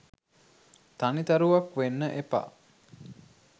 තනි තරුවක් වෙන්න එපා